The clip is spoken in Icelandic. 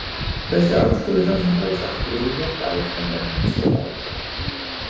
Þessi aðstoð við þá sem drógust aftur úr hélt áfram öll mín skólaár.